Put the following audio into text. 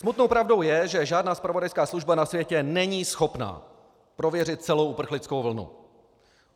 Smutnou pravdou je, že žádná zpravodajská služba na světě není schopná prověřit celou uprchlickou vlnu.